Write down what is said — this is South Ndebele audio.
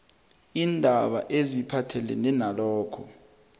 iindaba eziphathelene nalokho